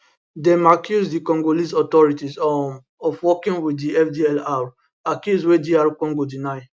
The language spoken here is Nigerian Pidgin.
dem accuse di congolese authorities um of working wit di fdlr accuse wey dr congo deny